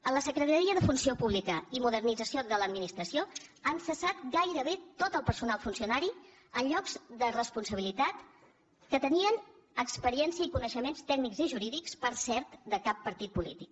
a la secretaria de funció pública i modernització de l’administració han cessat gairebé tot el personal funcionari en llocs de responsabilitat que tenien experiència i coneixements tècnics i jurídics per cert de cap partit polític